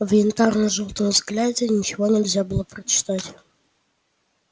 в янтарно-желтом взгляде ничего нельзя было прочитать